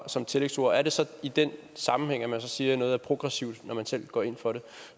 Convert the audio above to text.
som tillægsord er det så i den sammenhæng at man siger at noget er progressivt når man selv går ind for det